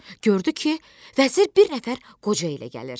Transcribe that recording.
Gördü ki, vəzir bir nəfər qoca ilə gəlir.